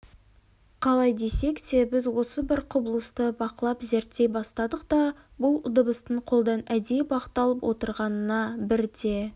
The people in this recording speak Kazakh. қалай десек те біз осы бір құбылысты бақылап зерттей бастадық та бұл дыбыстың қолдан әдейі бағытталып отырғанына бірте